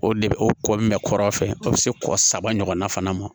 O de bɛ o kɔ min bɛ kɔrɔfɛ o bɛ se kɔ saba ɲɔgɔnna fana ma